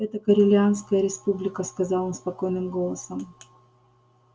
это корелианская республика сказал он спокойным голосом